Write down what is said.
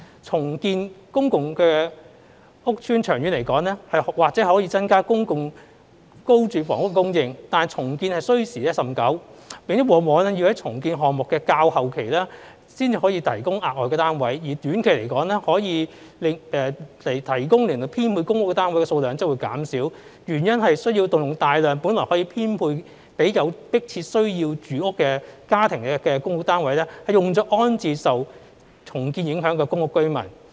重建公共屋邨長遠而言或可增加公共租住房屋供應，但重建需時甚久，並往往要在重建項目的較後期才能提供額外單位；而短期可供編配的公屋單位數量則會減少，原因是需要動用大量本來可編配予有迫切住屋需要家庭的公屋單位，用作安置受重建影響的公屋居民。